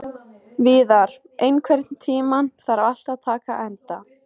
Víðar, einhvern tímann þarf allt að taka enda.